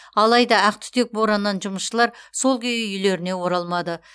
алайда ақтүтек бораннан жұмысшылар сол күйі үйлеріне оралмады